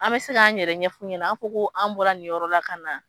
An bɛ se k'an yɛrɛ ɲɛfu ɲɛna an ko an bɔra nin yɔrɔla ka na.